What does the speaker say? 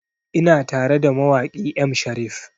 Ina tara da mawaƙi M Sharif